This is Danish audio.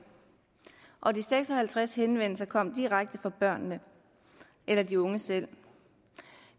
og de seks og halvtreds henvendelser kom direkte fra børnene eller de unge selv